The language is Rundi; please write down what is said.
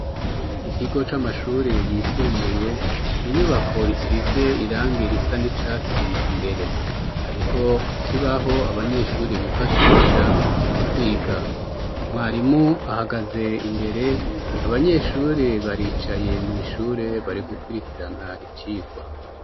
Ikigo c'amashure yisumbuye ,inyubako isize irangi risa n'icatsi imbere ,hariho ikibaho abanyeshuri bifashisha mu kwiga, mwarimu ahagaze imbere abanyeshuri baricaye mw' ishure bari gukurikirana icigwa.